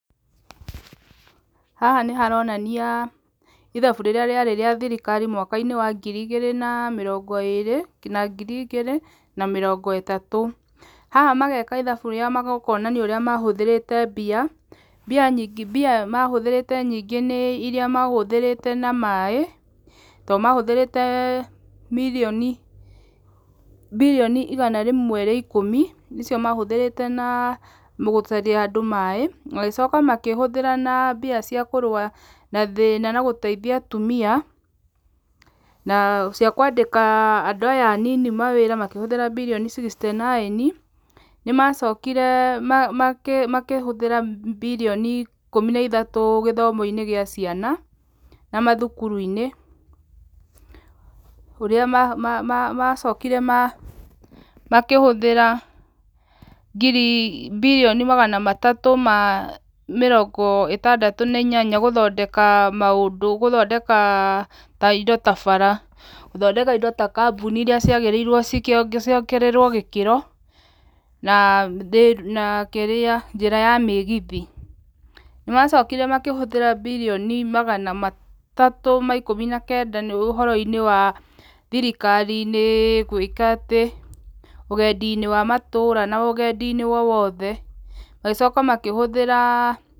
Haha nĩ haronania ithabu rĩrĩa rĩarĩ rĩa thirikari mwaka-inĩ wa ngiri igĩrĩ na mĩrongo ĩrĩ na ngiri igĩrĩ na mĩrongo ĩtatũ. Haha mageka ithabu rĩa kuonania ũrĩa mahũthĩrĩte mbia. Mbia mahũthĩrĩre nyingĩ nĩ irĩa mahũthĩrĩte na maaĩ tondũ mahũthĩrĩte mirioni, birioni igana rĩmwe rĩa ikũmi nĩcio mahũthĩrĩte na andũ maaĩ. Magĩcoka makĩhũthĩra na mbia cia kũrũa na thĩna na gũteithia atumia. Na cia kwandĩka andũ aya anini mawaĩra makĩhũthĩra bilioni sixty nine. Nĩ macokire makĩhũthĩra bilioni ikũmi na ithatũ gĩthomo-inĩ gĩa ciana na mathukuru-inĩ. Ũrĩa macokire makĩhũthĩra birioni magana matatũ ma mĩrongo ĩtandatũ gũthondeka maũndũ, gũthpndeka ta indo ta bara, gũthondeka indo ta kambuni irĩa ciagĩrĩirwo ciongererwo gĩkĩro na kĩrĩa, njĩra ya mĩgithi. Nĩ macokire makĩhũthĩra bilioni magana matatũ ma ikũmi na kenda ũhoro-inĩ wa thirikari gwĩka atĩ, ũgendi-inĩ wa matũra na ũgendi-inĩ o wothe. Magĩcoka makĩhũthĩra...